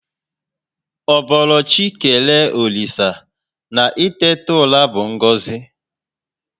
Ọ boro chị kelee olisa na itetu ụra bu ngozi